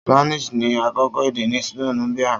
Spanish ni akọkọ ede ni Colombia.